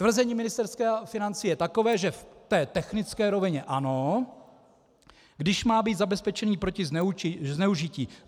Tvrzení Ministerstva financí je takové, že v té technické rovině ano, když má být zabezpečen proti zneužití.